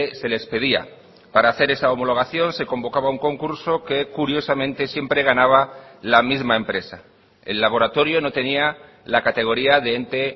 se les pedía para hacer esa homologación se convocaba un concurso que curiosamente siempre ganaba la misma empresa el laboratorio no tenía la categoría de ente